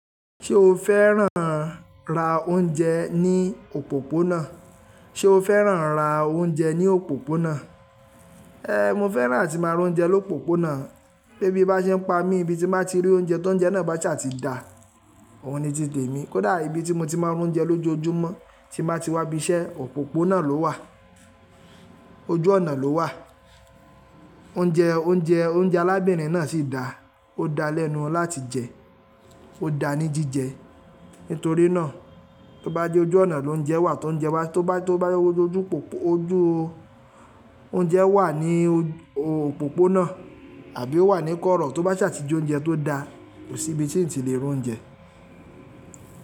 Ṣé o fẹ́ràn ra oúnjẹ ní òpópónà? Ṣé o fẹ́ràn ra oúnjẹ ní òpópónà? Eh, mo fẹ́ràn atí máa ra oúnjẹ lópópónà. Bé bí bá ṣe ń pa mí ibi tí máa ti rí oúnjẹ tó ń jẹ́ náà bá ti ṣe à ti da, òun ni ti tẹ mí. Kódà ibi tí mo ti máa ń rún oúnjẹ lójoojúmọ́ tí máa ti wá ibi iṣẹ́ òpópónà ló wà, ojú ọ̀nà ló wà. Oúnjẹ, oúnjẹ, oúnjẹ arábìnrin náà sì dà, ó da lẹ́nu láti jẹ, ó da ní jíjẹ. Nítorí náà, tó bá jẹ́ ojú ọ̀nà lóúnjẹ wà, tóúnjẹ bà, tó bá, tó bá jẹ́ ojú òpópó ojú oúnjẹ wà ní o òpópónà àbí ó wà ní kọ́rọ̀, tó bá ṣàtijó oúnjẹ tó da, kò sí ibi tí ń ti lè rún oúnjẹ.